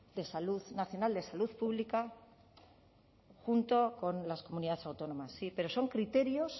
de salud pública junto con las comunidades autónomas sí pero son criterios